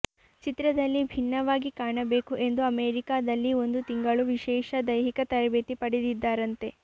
ಚಿತ್ರದಲ್ಲಿ ಭಿನ್ನವಾಗಿ ಕಾಣಬೇಕು ಎಂದು ಅಮೆರಿಕಾದಲ್ಲಿ ಒಂದು ತಿಂಗಳು ವಿಶೇಷ ದೈಹಿಕ ತರಬೇತಿ ಪಡೆದಿದ್ದಾರಂತೆ